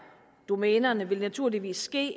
domænerne vil naturligvis blive